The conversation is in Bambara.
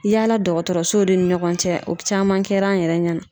Yaala dɔgɔtɔrɔsow de ni ɲɔgɔn cɛ o caman kɛra an yɛrɛ ɲɛna.